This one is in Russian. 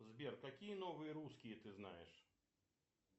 сбер какие новые русские ты знаешь